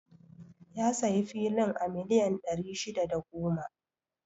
Ya sayi filin a miliyan ɗari shida da goma